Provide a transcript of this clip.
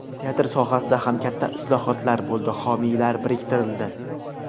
Teatr sohasida ham katta islohotlar bo‘ldi, homiylar biriktirildi.